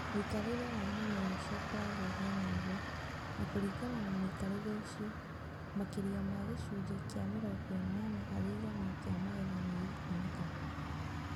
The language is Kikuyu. Mui͂kari͂re wa mu͂mera uci͂o u͂koragwo u͂haana u͂guo, na ku͂ringana na mu͂ikarire u͂cio, maki͂ria ma gi͂cunji͂ ki͂a mi͂rongo i͂nana hari igana ki͂a magetha ni gi͂kuonekana.